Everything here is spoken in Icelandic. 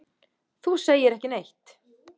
Þú segir ekki neitt.